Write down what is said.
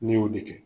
Ne y'o de kɛ